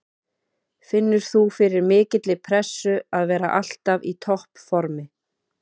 Finnur þú fyrir mikilli pressu að vera alltaf í toppformi?